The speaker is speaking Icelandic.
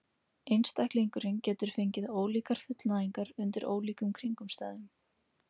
Einstaklingurinn getur fengið ólíkar fullnægingar undir ólíkum kringumstæðum.